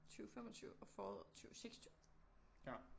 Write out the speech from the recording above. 20 25 og foråret 20 26